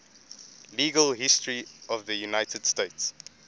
legal history of the united states